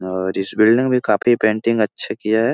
और इस बिल्डिंग में काफी पेंटिंग अच्छा किया है।